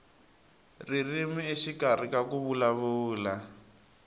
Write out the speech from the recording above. ririmi exikarhi ka ku vulavula